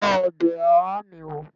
Tọ́ ọbẹ̀ oha mi wó!